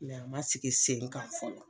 a ma sigi sen kan fɔlɔ